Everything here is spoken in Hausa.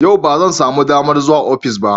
Yau ba zan samu damar zuwa ofis ba.